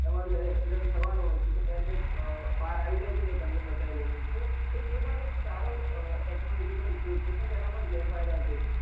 એમાં અંદર accident થવા નો હોય છે તો air bag બહાર આવી જાય છે ને તમને બચાવી લે છે તો એ પણ એક સારો technology નો ઉપયોગ છે પણ એના પણ ઘેરફાયદા છે